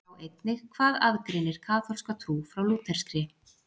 Sjá einnig Hvað aðgreinir kaþólska trú frá lúterskri?